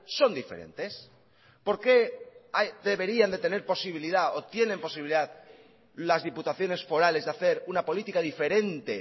son diferentes por qué deberían de tener posibilidad o tienen posibilidad las diputaciones forales de hacer una política diferente